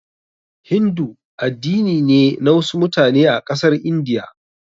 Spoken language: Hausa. Hindu addini ne na wasu mutane a ƙasar India.